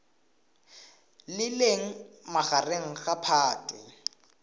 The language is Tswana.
le leng magareng ga phatwe